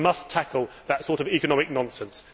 We must tackle that sort of economic nonsense.